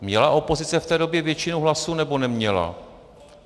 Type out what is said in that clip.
Měla opozice v té době většinu hlasů, nebo neměla?